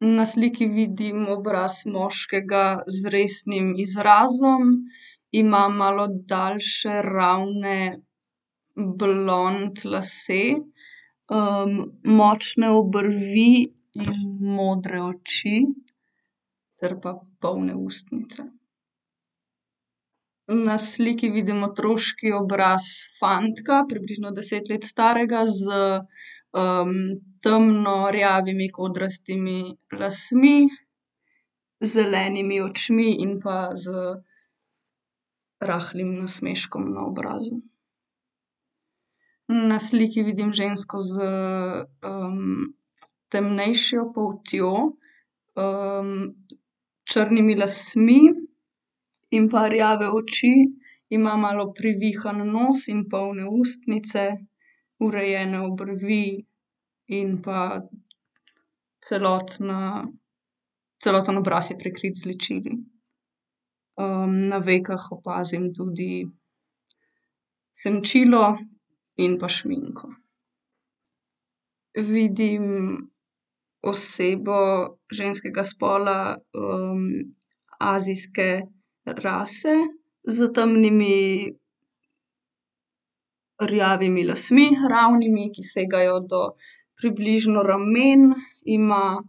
Na sliki vidim obraz moškega z resnim izrazom. Ima malo daljše, ravne, blond lase. močne obrvi in modre oči ter pa polne ustnice. na sliki vidim otroški obraz fantka, približno deset let starega s, temno rjavimi kodrastimi lasmi, zelenimi očmi in pa z rahlim nasmeškom na obrazu. na sliki vidim žensko s, temnejšo poltjo, črnimi lasmi in pa rjave oči. Ima malo privihan nos in polne ustnice. Urejene obrvi in pa celotna, celoten obraz je prekrit z ličili. na vekah opazim tudi senčilo in pa šminko. Vidim osebo ženskega spola, azijske rase s temnimi, rjavimi lasmi, ravnimi, ki segajo do približno ramen, ima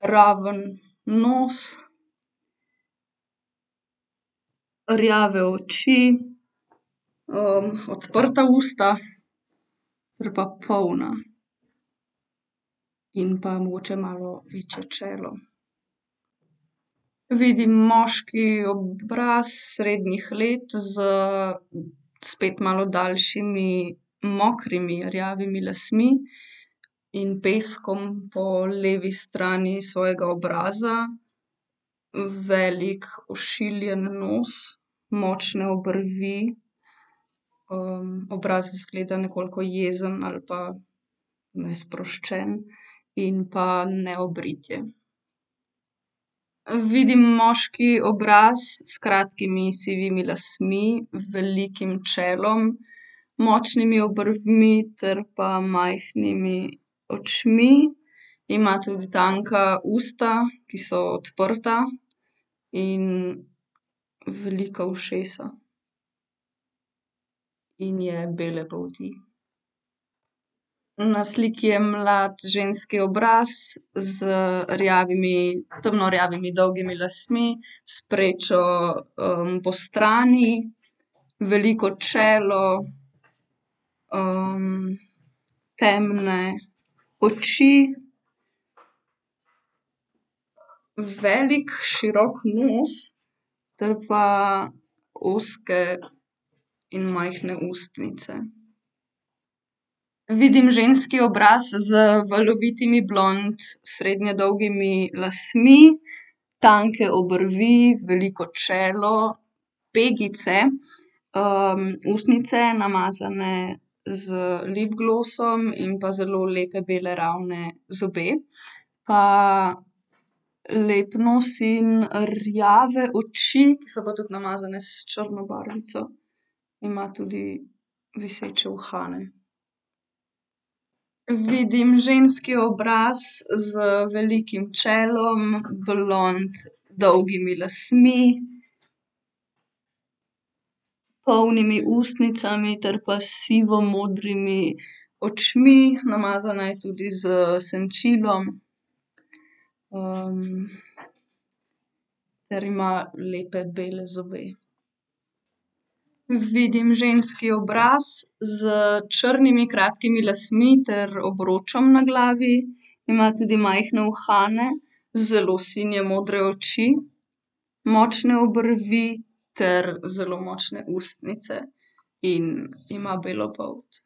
raven nos, rjave oči, odprta usta ter pa polna. In pa mogoče malo večje čelo. Vidim moški obraz srednjih let s spet malo daljšimi, mokrimi, rjavimi lasmi in peskom po levi strani svojega obraza. Velik ošiljen nos, močne obrvi. obraz izgleda nekoliko jezen ali pa nesproščen in pa neobrit je. vidim moški obraz s kratkimi sivimi lasmi, velikim čelom, močnimi obrvmi ter pa majhnimi očmi. Ima tudi tanka usta, ki so odprta, in velika ušesa in je bele polti. Na sliki je mlad ženski obraz z rjavimi, temno rjavimi dolgimi lasmi. S prečo, postrani, veliko čelo, temne oči, velik širok nos ter pa ozke in majhne ustnice. Vidim ženski obraz z valovitimi blond, srednje dolgimi lasmi. Tanke obrvi, veliko čelo, pegice. ustnice, namazane z lipglosom in pa zelo lepe bele ravne zobe. lep nos in rjave oči, ki pa so tudi namazane s črno barvico. Ima tudi viseče uhane. Vidim ženski obraz z velikim čelom, blond, dolgimi lasmi, polnimi ustnicami ter pa sivomodrimi očmi, namazana je tudi s senčilom. ter ima lepe bele zobe. Vidim ženski obraz s črnimi kratkimi lasmi ter obročem na glavi. Ima tudi majhne uhane. Zelo sinje modre oči, močne obrvi ter zelo močne ustnice. In ima belo polt.